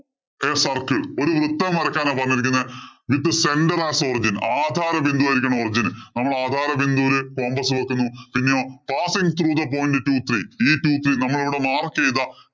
Draw a circle ഒരു വൃത്തം വരയ്ക്കാനാ പറഞ്ഞിരിക്കുന്നത്. with center as കൊടുത്തിരിക്കുന്നത്. ആധാര ബിന്ദുവായിരിക്കണം. origin നമ്മള് ആധാര ബിന്ദുവില്‍ compass വയ്ക്കുന്നു. പിന്നെയോ passing the point two three. ഈ two three നമ്മളിവിടെ mark ചെയ്ത